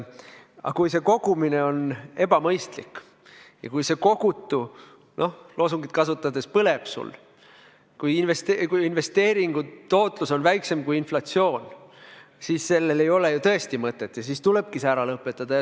Kui kogumine on ebamõistlik ja kui see kogutu loosungi sõnu kasutades põleb, kui investeeringu tootlus on väiksem kui inflatsioon, siis sellel ei ole tõesti mõtet ja siis tuleb see ära lõpetada.